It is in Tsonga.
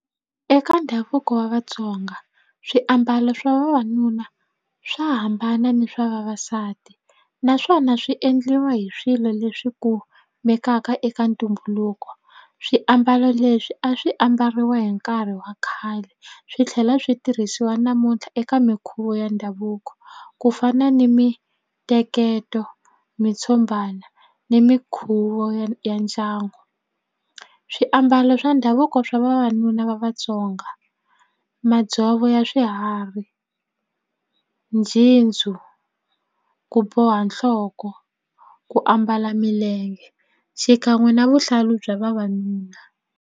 Eka ndhavuko wa Vatsonga swiambalo swa vavanuna swa hambana ni swa vavasati naswona swi endliwa hi swilo leswi kumekaka eka ntumbuluko swiambalo leswi a swi ambariwa hi nkarhi wa khale swi tlhela swi tirhisiwa namuntlha eka minkhuvo ya ndhavuko ku fana ni miteketo mitshumbana ni minkhuvo ya ya ndyangu swiambalo swa ndhavuko swa vavanuna va Vatsonga madzovo ya swiharhi ku boha nhloko ku ambala milenge xikan'we na vuhlalu bya vavanuna.